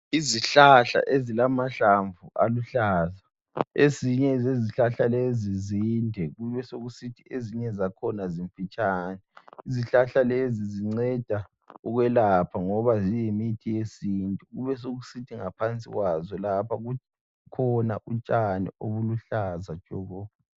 Izihlahla ezilamahlamvu aluhlaza. Ezinye zezihlahla lezi zinde kubesokusithi ezinye zakhona zimfitshane. Izihlahla lezi zinceda ukwelapha ngoba ziyimithi yesintu. Kubesokusithi ngaphansi kwazo lapha kukhona utshani obuluhlaza tshoko.